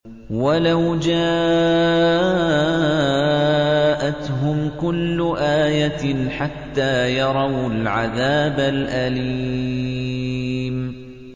وَلَوْ جَاءَتْهُمْ كُلُّ آيَةٍ حَتَّىٰ يَرَوُا الْعَذَابَ الْأَلِيمَ